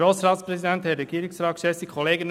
Kommissionssprecher der FiKo.